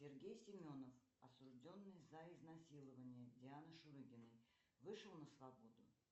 сергей семенов осужденный за изнасилование дианы шурыгиной вышел на свободу